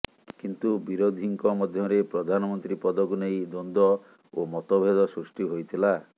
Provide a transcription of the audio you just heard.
କିନ୍ତୁ ବିରୋଧୀଙ୍କ ମଧ୍ୟରେ ପ୍ରଧାନମନ୍ତ୍ରୀ ପଦକୁ ନେଇ ଦ୍ୱନ୍ଦ୍ୱ ଓ ମତଭେଦ ସୃଷ୍ଟି ହୋଇଥିଲା